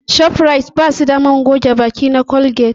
Shofrayit ba su da man goge baki na Colgate